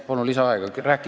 Palun lisaaega!